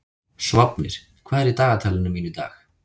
Sváfnir, hvað er í dagatalinu mínu í dag?